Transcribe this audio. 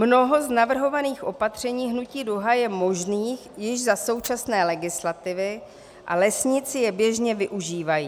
Mnoho z navrhovaných opatření Hnutí Duha je možných již za současné legislativy a lesníci je běžně využívají.